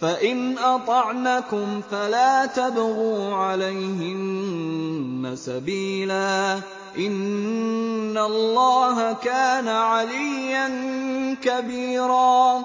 فَإِنْ أَطَعْنَكُمْ فَلَا تَبْغُوا عَلَيْهِنَّ سَبِيلًا ۗ إِنَّ اللَّهَ كَانَ عَلِيًّا كَبِيرًا